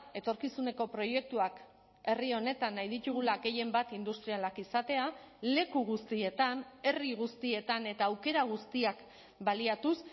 etorkizuneko proiektuak herri honetan nahi ditugula gehienbat industrialak izatea leku guztietan herri guztietan eta aukera guztiak baliatuz